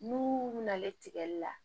N'u nalen tigɛli la